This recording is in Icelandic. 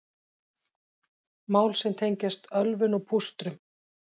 Mál sem tengjast ölvun og pústrum